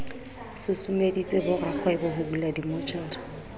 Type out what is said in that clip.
susumeditse borakgwebo ho bula dimmotjhara